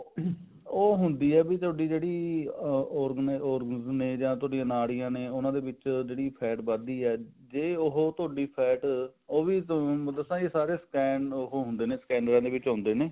ਉਹ ਹੁੰਦੀ ਆ ਵੀ ਥੋਡੀ ਜਿਹੜੀ ਅਮ organ ਨੇ ਜਾਂ ਥੋਡੀ ਨਾੜੀਆਂ ਨੇ ਉਹਨਾ ਦੇ ਵਿੱਚ ਜਿਹੜੀ fat ਵਧਦੀ ਹੈ ਜੇ ਉਹ ਤੁਹਾਡੀ fat ਉਹ ਵੀ ਥੋਨੂੰ ਦੱਸਾਂ ਸਾਰੇ stand ਉਹ ਹੁੰਦੇ ਨੇ clinic ਚ ਹੁੰਦੇ ਨੇ